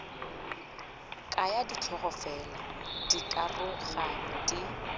kaya ditlhogo fela dikaroganyo di